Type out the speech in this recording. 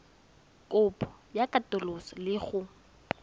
kopo ya katoloso le go